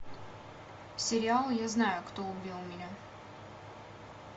сериал я знаю кто убил меня